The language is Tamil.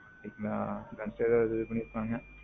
ஆ. அது ஏதாவது release பண்ணியிருப்பாங்க.